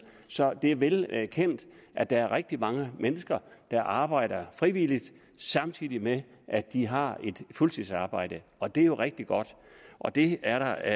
så det er velkendt at der er rigtig mange mennesker der arbejder frivilligt samtidig med at de har et fuldtidsarbejde og det er jo rigtig godt og det er der